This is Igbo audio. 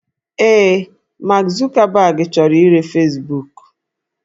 Ee, Mark Zuckerberg chọrọ ire Fesbuku